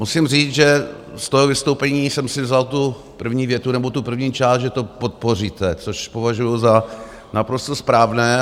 Musím říct, že z toho vystoupení jsem si vzal tu první větu, nebo tu první část, že to podpoříte, což považuji za naprosto správné.